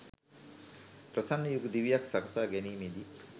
ප්‍රසන්න යුග දිවියක් සකසා ගැනීමේ දී